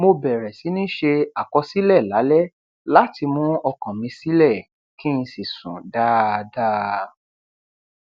mo bẹrẹ sí ní ṣe àkọsílẹ lálẹ láti mú ọkàn mi silẹ kí n sì sùn dáadáa